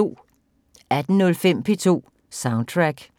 18:05: P2 Soundtrack